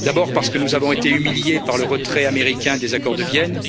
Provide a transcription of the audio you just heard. D'abord, parce que nous avons été humiliés par le retrait américain des accords de Vienne.